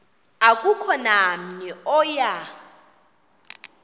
akukho namnye oya